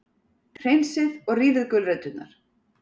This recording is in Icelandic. Hreinsið og rífið gulræturnar.